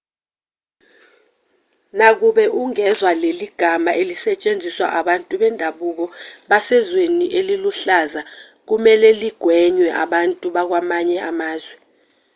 nakuba ungezwa leli gama lisetshenziswa abantu bendabuko basezweni eliluhlaza kumelwe ligwenywe abantu bakwamanye amazwe